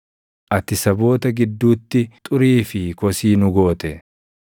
Ati saboota gidduutti xurii fi kosii nu goote.